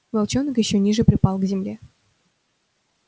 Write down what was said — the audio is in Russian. волчонок ещё ниже припал к земле